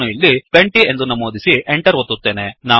ನಾನು ಇಲ್ಲಿ 20 ಎಂದು ನಮೂದಿಸಿ Enter ಒತ್ತುತ್ತೇನೆ